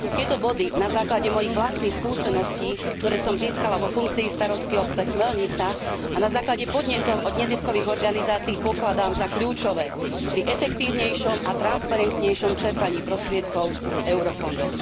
Tieto body na základe mojich vlastných skúseností, ktoré som získala vo funkcii starostky obce Chmelnica a na základe podnetov od neziskových organizácii, pokladám za kľúčové pri efektívnejšom a transparentnejšom čerpaní prostriedkov z eurofondov.